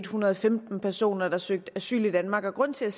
hundrede og femten personer der søgte asyl i danmark grunden til at